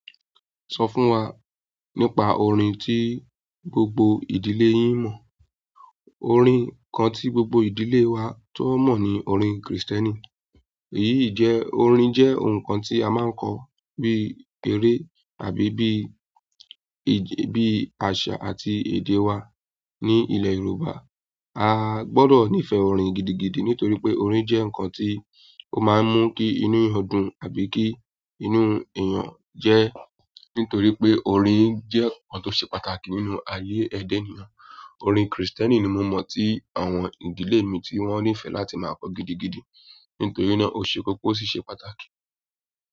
Sọ fún wa nípa orin tí gbogbo ìdílé yín mọ̀. Orin kan tí gbogbo ìdílé wa tó mọ̀ ni orin Krìstẹ́nì. Èyí jẹ́ orin jẹ́ nǹkan tí a máa ń kọ bí eré àbí bí, bí àṣà àti èdè wa ní ilẹ̀ Yorùbá. A gbọdọ̀ nífẹ̀ẹ́ orin gidigidi nítorí pé orin jẹ́ nǹkan tí ó máa ń mú kí inú eeyan dùn àbí kí inú èèyàn jẹ́, nítorí pé orin jẹ́ nǹkan tó ṣe pàtàkì nínú ayé ẹ̀dá ènìyàn. Orin Krìstẹ́nì ni mo mọ̀ tí àwọn ìdílé mi tí wọ́n nífẹ̀ẹ́ láti máa kọ gidigidi nítorí náà ó ṣe kókó ó sì ṣe pàtàkì.